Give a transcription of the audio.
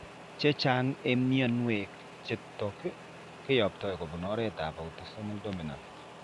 Chechang' eng' mionwek chutok kiyoptoi kobun oretab autosomal dominant.